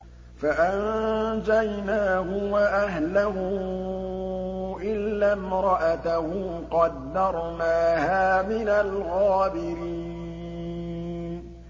فَأَنجَيْنَاهُ وَأَهْلَهُ إِلَّا امْرَأَتَهُ قَدَّرْنَاهَا مِنَ الْغَابِرِينَ